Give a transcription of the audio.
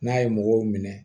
N'a ye mɔgɔw minɛ